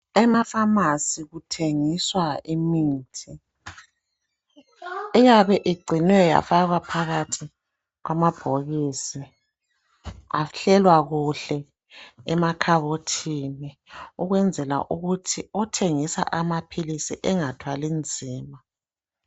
Emafamasi kuthengiswa imithi iyabe igcinwe yafakwa phakathi kwama bhokisi ahlelwa kuhle emakhabothini ukwenzela ukuthi othengisa amaphilisi engathwali nzima.